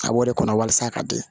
A b'o de kɔnɔ walasa a ka di